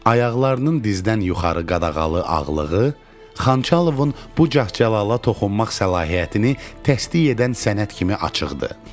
Ayaqlarının dizdən yuxarı qadağalı ağlığı Xanxalovun bu cəhcəlala toxunmaq səlahiyyətini təsdiq edən sənət kimi açıqdı.